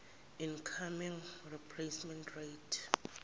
income replacement rate